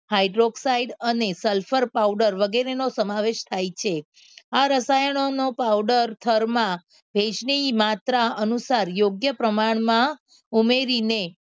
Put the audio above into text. hydroxide અને sulphur powder વગેરેનો સમાવેશ થાય છે આ રસાયણોનો પાવડર થરમાં ભેજની માત્રા અનુસાર યોગ્ય પ્રમાણમાં ઉમેરીને